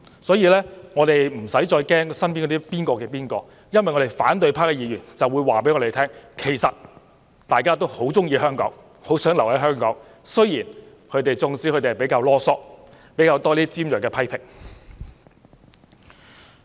所以，我們不用為某某身邊的某某而擔憂，因為反對派議員以行動告訴我們，其實大家都很喜歡香港，很想留在香港，儘管他們比較嘮叨及提出較多尖銳批評。